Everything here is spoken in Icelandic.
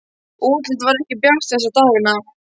Útlitið var ekki bjart þessa dagana.